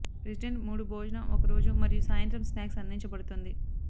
resident మూడు భోజనం ఒక రోజు మరియు సాయంత్రం స్నాక్స్ అందించబడుతుంది